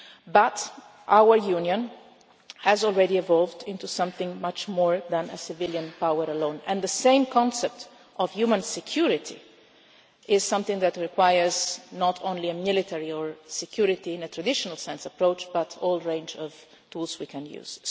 But our Union has already evolved into something much more than a civilian power alone, and the same concept of human security is something that requires not only a military or security in a traditional sense approach, but the whole range of tools we can